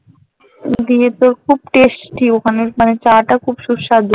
দিয়ে তোর খুব testy ওখানের মানে চা টা খুব সুস্বাদু